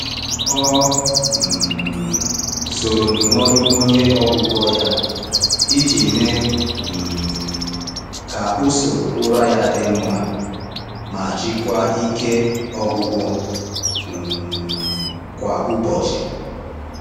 Ọ um soro ndụmọdụ onye ọgwụgwọ ya iji mee um ka usoro ụra ya dị mma ma jikwaa ike ọgwụgwụ um kwa ụbọchị.